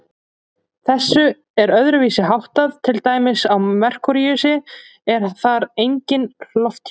Þessu er öðruvísi háttað til dæmis á Merkúríusi, en þar er enginn lofthjúpur.